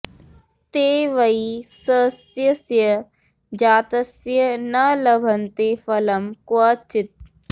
ते वै सस्यस्य जातस्य न लभन्ते फलं क्व चित्